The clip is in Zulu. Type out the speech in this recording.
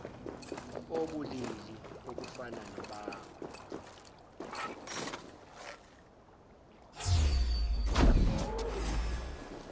obulili obufana nobakho